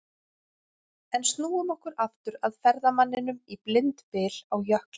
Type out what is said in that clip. En snúum okkur aftur að ferðamanninum í blindbyl á jökli.